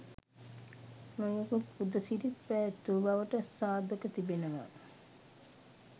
නොයෙකුත් පුද සිරිත් පැවැත් වූ බවට සාධක තිබෙනවා.